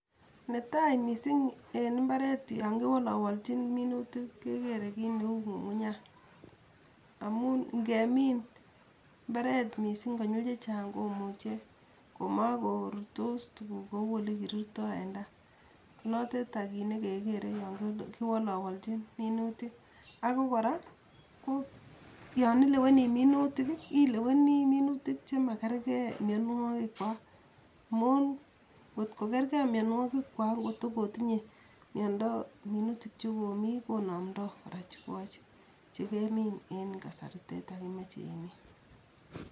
Netai mising en mbaret yon kiwolowolchin minutik kekere kit neu ngungunyat, amun ngemin mbaret mising konyil chechang komuche ko makorurtos tuguuk kou olekirurtoi en tai konoteta kit ne kekere yon kiwolowolchin minutik, ako kora ko yon ileweni minutik ileweni minutikik che makerkei mionwogikwak amun ngot kokerkei mionwogikwak ngot ko kotinye miondo minutik cho komi konomdo kora chikoche chegemin en kasariteet ak imoche imin.